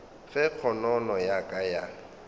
ge kgonono ya ka ya